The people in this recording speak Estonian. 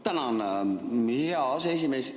Tänan, hea aseesimees!